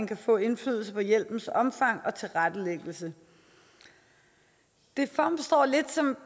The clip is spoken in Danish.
kan få indflydelse på hjælpens omfang og tilrettelæggelse det fremstår lidt som